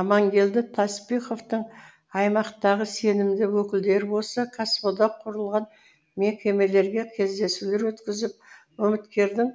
аманкелді таспиховтың аймақтағы сенімді өкілдері осы кәсіподақ құрылған мекемелерде кездесулер өткізіп үміткердің